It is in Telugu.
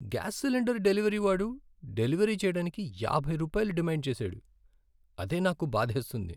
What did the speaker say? గ్యాస్ సిలిండర్ డెలివరీ వాడు డెలివరీ చేయడానికి యాభై రూపాయలు డిమాండ్ చేశాడు, అదే నాకు బాధేస్తుంది.